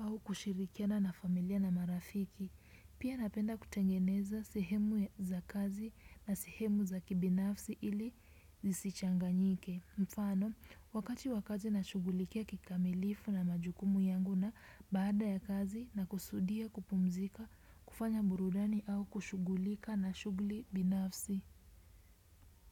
au kushirikiana na familia na marafiki. Pia napenda kutengeneza sehemu za kazi na sehemu za kibinafsi ili zisichanganyike. Mfano, wakati wa kazi nashugulikia kikamilifu na majukumu yangu na baada ya kazi nakusudia kupumzika, kufanya burudani au kushugulika na shuguli binafsi.